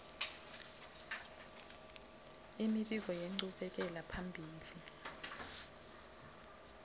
imibiko yenchubekela phambili